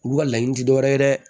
Olu ka laɲini ti dɔwɛrɛ ye dɛ